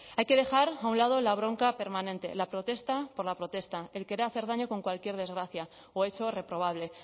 hay que dejar a un lado la bronca permanente la protesta por la protesta el querer hacer daño con cualquier desgracia o eso reprobable